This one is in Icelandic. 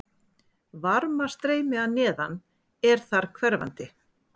Varmastreymi að neðan er þar hverfandi.